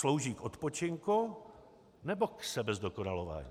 Slouží k odpočinku, nebo k sebezdokonalování?